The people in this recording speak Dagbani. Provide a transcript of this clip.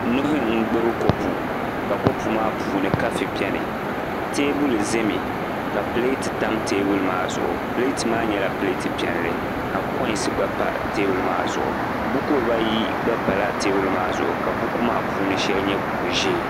Nuhi n gbubi kopu ka kopu maa puuni kafi biɛni teebulu ʒɛmi ka pileet tam teebuli maa zuɣu pileet maa nyɛla pileet piɛlli ka koins gba pa teebuli maa zuɣu buku dibayi gba pala teebuli maa zuɣu ka buku maa shɛli puuni nyɛ buku ʒiɛ